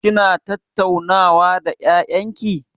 Kina tattaunawa da ƴaƴan ki?